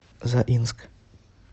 заинск